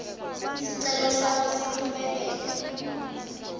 sicelo sakho siphumelele